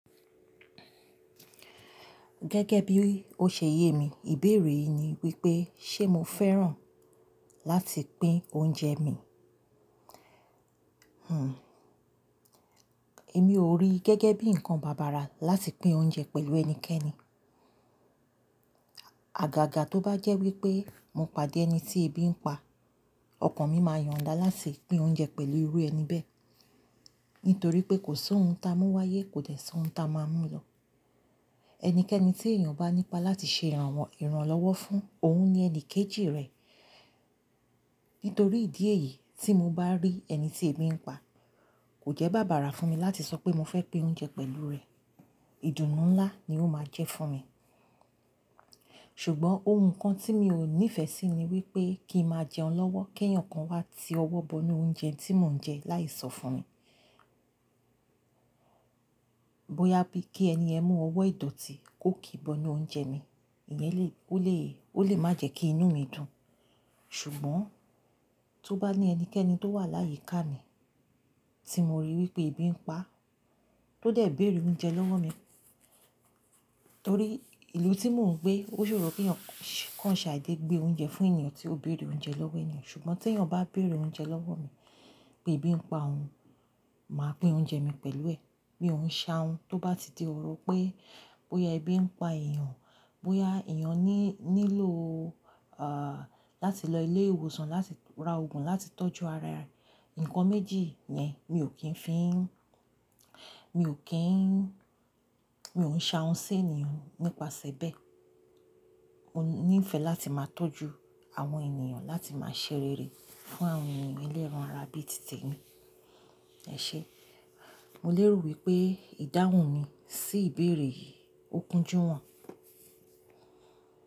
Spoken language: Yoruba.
Gẹ́gẹ́ bí ó ṣe yé mi, ìbéèrè yìí ni wípé ṣe mo fẹ́ràn láti pín oúnjẹ mi? Hmm, èmi ò rí gẹ́gẹ́ bí ǹkan bàbàrà láti pín oúnjẹ pẹ̀lú ẹnikẹ́ni. Àgàgà tó bá jẹ́ wípé mo pàdé ẹni tí ebí ń pa, ọkàn mi máa yọ̀nda láti pín oúnjẹ pẹ̀lú irú ẹni bẹ́ẹ̀. Nítorí pé kò sí ohun ta mú wáyé kò dẹ̀ sí ohun ta máa mú lọ. Ẹnikẹ́ni tí èèyàn bá nípa láti ṣe ìrànlọ́wọ́ fún òhun ní ẹni kejì rè. Nítorí ìdí èyí tí mo bá rí ẹni tí ebí ń pa, kò jẹ́ bàbàrà fún mi láti sọ pé mo fẹ́ pín oúnjẹ pẹ̀lú rè. Ìdùnnú ńlá ni ó máa jẹ́ fún mi. Ṣùgbọ́n ohun kan tí mi ò nífẹ̀ẹ́ sí ni wípé kí n máa jẹun lọ́wọ́, kí èèyàn kan wá ti ọwọ́ bọnu oúnjẹ tí mò ń jẹ láì sọ fún mi. Bóyá bí kí ẹni ẹ mu ọwọ́ ìdọ̀tí kó kì í bọnu oúnjẹ mi, ìyẹn lè, ó lè, ó lè má jẹ́ kí inú mi dùn. Ṣùgbọ́n tó bá ní ẹnikẹ́ni tó wà láyìí ká mi tí mo rí wípé ebí ń pa, tó dẹ̀ bèrè oúnjẹ lọ́wọ́ mi. Torí ìlú tí mò ń gbé ó ṣòro pé kí wọ́n ṣàdéde gbé oúnjẹ fún ènìyàn tí ó bèrè oúnjẹ lọ́wọ́ èèyàn. Ṣùgbọ́n tí èèyàn bá bèrè oúnjẹ lọ́wọ́ mi pé ebí ń pa òun, màá pín oúnjẹ mi pẹ̀lú è, mi ò ń ṣàhun tó bá ti di òrò pé bóyá ebí ń pa èèyàn, bóyá èèyàn ní, nílò, à, láti lọ ilé ìwòsàn láti ra òògùn láti tọ́jú ara rẹ, ǹkan méjì yẹn mi ò kí ń fi, mi ò kí ń, mi ò ń ṣàhun sí èèyàn nípasẹ̀ bẹ́ẹ̀. Mo níìfẹ̀ẹ́ láti máa tọ́jú àwọn ènìyàn, láti máa ṣerere fún àwọn ènìyàn eléran ara bí tì temi. Ẹ ṣé, mo lérò wípé ìdáhùn mi sí ìbéèrè yìí ó kúnjú wọ́n.